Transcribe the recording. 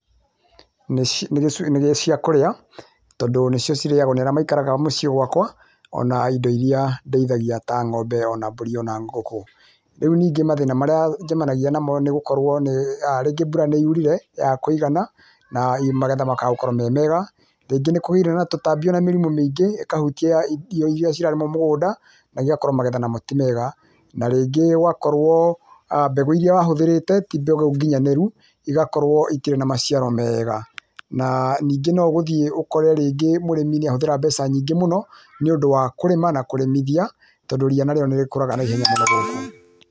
Nĩ nĩ ciakũrĩa, tondũ nĩcio cirĩagwo nĩ arĩa maikaraga mũciĩ gwakwa, ona indo iria ndĩithagia ta ng'ombe, ona mbũri ona ngũkũ. Rĩu ningĩ mathĩna marĩa njemanagia namo nĩgũkorwo nĩĩ a rĩngĩ mbura nĩyurire, yaaga kũigana, na magetha makaga gũkorwo me mega. Rĩngĩ nĩkũgĩire na tũtambi, ona mĩrimũ mĩingĩ ĩkahutia irio iria cirarĩmwo mũgũnda na igakorwo magetha namo ti mega. Na rĩngĩ gũgakorwo mbegũ iria wahũthĩrĩte ti mbegũ nginyanĩru, igakorwo itirĩ na maciaro meega. Na, ningĩ no ũgũthiĩ ũkore rĩngĩ mũrĩmi nĩahũthĩra mbeca nyingĩ mũno, niũndũ wa kũrĩma na kũrĩmithia, tondũ ria narĩo nĩrĩkũraga naihenya mũno gũkũ.